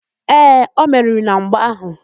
Ee, o meriri na mgba áhụ̀.